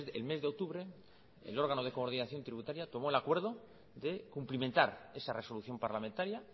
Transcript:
el mes de octubre el órgano de coordinación tributaria tomó el acuerdo de cumplimentar esa resolución parlamentaria